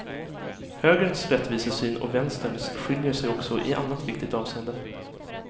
Högerns rättvisesyn och vänsterns skiljer sig också i annat viktigt avseende.